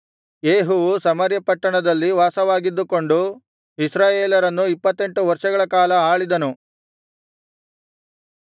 ಯೇಹುವು Samaria ಪಟ್ಟಣದಲ್ಲಿ ವಾಸವಾಗಿದ್ದುಕೊಂಡು ಇಸ್ರಾಯೇಲರನ್ನು ಇಪ್ಪತ್ತೆಂಟು ವರ್ಷಗಳ ಕಾಲ ಆಳಿದನು